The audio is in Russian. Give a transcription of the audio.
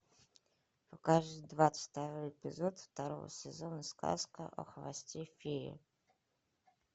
покажи двадцать второй эпизод второго сезона сказка о хвосте феи